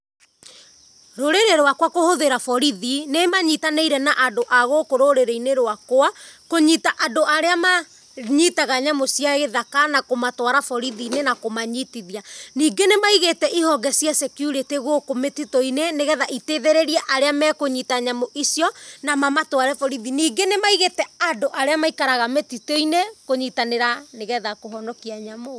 Rũrĩrĩ rwakwa kũhũthĩra borithi, nĩ manyitanĩire na andũ a gũkũ rũrĩrĩinĩ rwakwa, kũnyita andũ arĩa manyitaga nyamũ cia gĩthaka na kũmatwara borithi-inĩ na kũmanyitithia. Ningĩ nĩmaĩgite ĩhonge cia security gũkũ mĩtitũinĩ, nĩgetha iteithĩrerie arĩa me kũnyita nyamũ icio na ma matware borithi. Ningĩ nĩmaĩgite andũ arĩa maikaraga mĩtituinĩ kũnyitanĩra nĩ getha kũhonokia nyamũ.